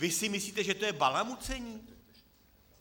Vy si myslíte, že to je balamucení?